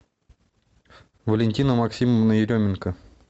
валентина максимовна еременко